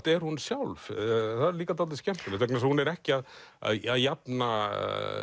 er hún sjálf það er líka dálítið skemmtilegt vegna þess að hún er ekki að jafna